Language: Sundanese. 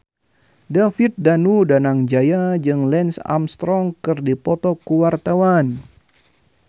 David Danu Danangjaya jeung Lance Armstrong keur dipoto ku wartawan